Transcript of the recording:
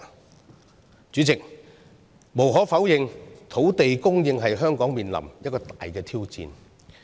代理主席，無可否認，土地供應是香港面臨的一大挑戰。